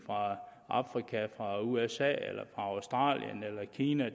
afrika usa australien eller kina